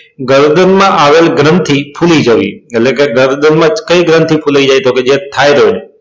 ગરદન માં આવેલ ગ્રંથી ફૂલી જવી એટલે કે ગરદન માં કઈ ગ્રંથી ફૂલી જાય તો કે છે